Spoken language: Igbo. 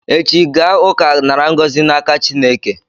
Echi gaa ụka nara ngọzị n'aka Chineke!